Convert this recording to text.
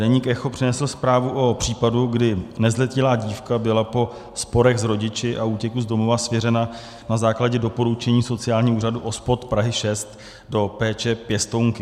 Deník ECHO přinesl zprávu o případu, kdy nezletilá dívka byla po sporech s rodiči a útěku z domova svěřena na základě doporučení sociálního úřadu OSPOD Prahy 6 do péče pěstounky.